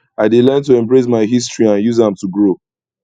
i dey learn to embrace my history and use am to grow